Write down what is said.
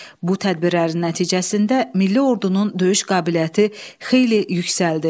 Bu tədbirlərin nəticəsində milli ordunun döyüş qabiliyyəti xeyli yüksəldi.